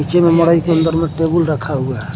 नीचे में मड़ई के अंदर में टेबल रखा हुआ है।